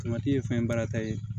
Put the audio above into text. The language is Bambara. ye fɛn baara ta ye